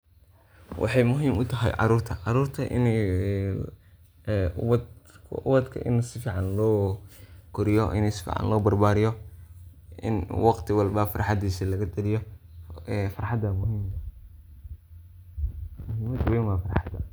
waxay muhim utahay carurta, carurta inii ee ubadka ini si fican loo koriyo ini si fican loo barbariyo in waqti walbo farxadiis laga taaliyo, farxada muhime, muhimad weyn waa farxada